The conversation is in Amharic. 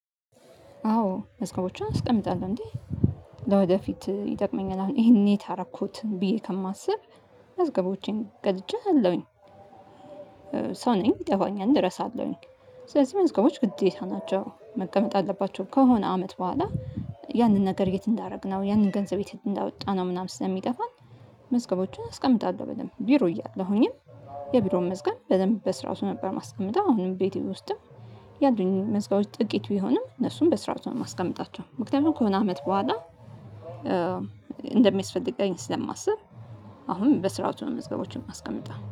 አዎ መዝገቦችን አስቀምጣለሁ እንዴ ለወደፊት ይጠቅመኛል አሁን ይሄን የት አረኩት ብዬ ከማስብ መዝገቦቼን ቀድጄ አለሁኝ። ሰው ነኝ ይጠፋኛል እረሳለሁኝ። ስለዚህ መዝገቦች ግዴታ ናቸው መቀመጥ አለባቸው ከሆነ አመት በኋላ ያንን ነገር የት እንዳደረግነው ያንን ገንዘብ እንዳወጣነው ምናምን ስለሚጠፋን። መዝገቦችን አስቀምጣለሁ በደንብ ቢሮ እያለሁኝም የቢሮውን መዝገብ በደንብ በስርዓቱ ነበር ማስቀመጥው አሁንም ቤት ውስጥም። ያድሉኝን መዝገቦች ጥቂት ቢሆንም እነሱን በስርዓቱ ነው ማስቀምጣቸው ምክንያቱም ከሆነ አመት በኋላ እንደሚስፈልገኝ ስለማስብ። አሁንም በስርዓቱ ነው መዝገቦችን ማስቀመጥው